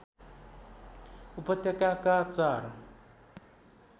उपत्यकाका चार